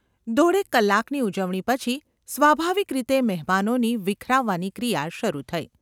દોઢેક કલાકની ઉજવણી પછી સ્વાભાવિક રીતે મહેમાનોની વિખરાવાની ક્રિયા શરૂ થઈ.